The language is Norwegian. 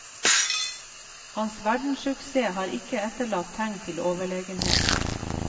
Hans verdenssuksess har ikke etterlatt tegn til overlegenhet.